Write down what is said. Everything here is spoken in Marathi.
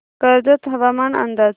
कर्जत हवामान अंदाज